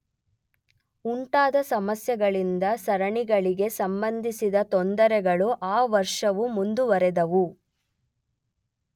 ಉಂಟಾದ ಸಮಸ್ಯೆಗಳಿಂದ ಸರಣಿಗಳಿಗೆ ಸಂಬಂಧಿಸಿದ ತೊಂದರೆಗಳು ಆ ವರ್ಷವು ಮುಂದುವರೆದವು.